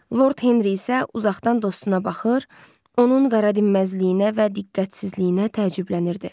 Lord Henri isə uzaqdan dostuna baxır, onun qaradinməzliyinə və diqqətsizliyinə təəccüblənirdi.